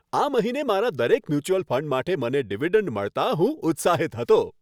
આ મહિને મારા દરેક મ્યુચ્યુઅલ ફંડ માટે મને ડિવિડન્ડ મળતાં હું ઉત્સાહિત હતો.